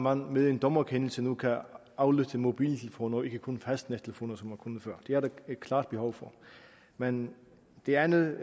at man med en dommerkendelse nu kan aflytte mobiltelefoner og ikke kun fastnettelefoner som man kunne før det er der et klart behov for men det andet